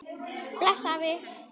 Bless afi.